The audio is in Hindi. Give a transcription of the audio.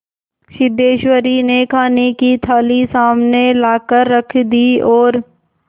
सिद्धेश्वरी ने खाने की थाली सामने लाकर रख दी और